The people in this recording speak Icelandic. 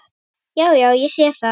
Já, já. ég sé það.